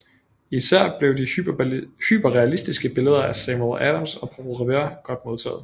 Især blev de hyperrealistiske billeder af Samuel Adams og Paul Revere godt modtaget